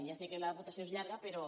ja sé que la votació és llarga però